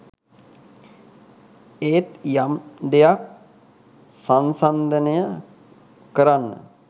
ඒත් යම් දෙයක් සන්සන්දනය කරන්න